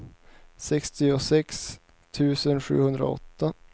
sextiosex tusen sjuhundraåtta